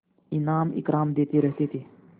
इनाम इकराम देते रहते थे